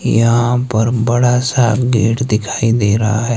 यहां पर बड़ा सा गेट दिखाई दे रहा है।